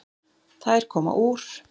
Þær koma úr